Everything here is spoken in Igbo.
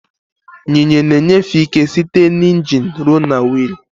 Yinye na enyefe ike site na ingin ruo na wiil.